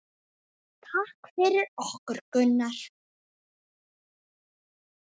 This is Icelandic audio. Takk fyrir okkur, Gunnar.